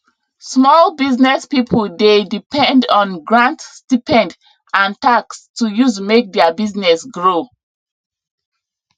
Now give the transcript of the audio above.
small business people dey depend on grant stipend and tax to use make their business grow